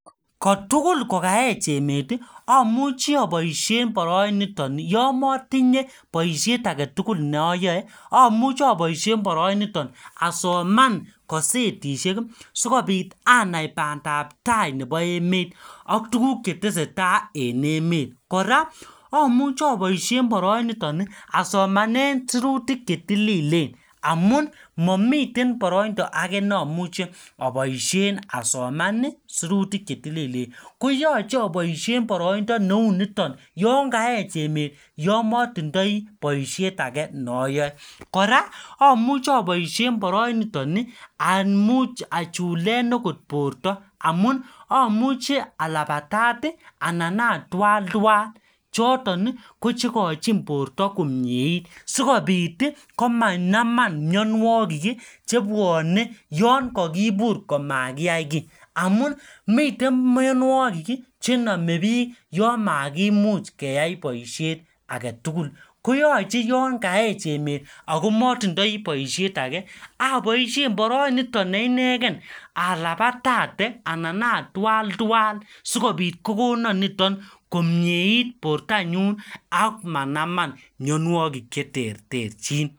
Ko tugul kokaech emet, amuchi aboisien boroinitoni yomotinye boisiet age tugul neayae, amuchi aboisien boroiniton asoman kasetishek, sikobit anai bandap tai nebo emet, ak tuguk che tesetai en emet, Kora amuchi aboisie boroinitoni asomanen sirutik che tililen. Amun mamiten boroindo age ne amuche aboisien asoman sirutik che tililen. Koyache aboisien boroindo neu niton, yon kaech emet, yomotindoi boisiet age ne ayae. Kora amuchi aboisien boroinitoni, amuch achulen agot borto amun, amuchi alabatat anan atwal tuwan. Choton, ko chekochin borto komieit sikobit komanaman myanwogik chebwane yon kakibur komakiyai kiy. Amun miten myanwogik chename biik yamakimuch keyai boisiet age tugul. Koyache yon kaech emet, akomatindoi boisiet age, aboisien boroi niton ne inegen alabatate ana atwal tuwan, sikobit kokonon niton komiet borto nyun ak manaman myanwogik che terterchin.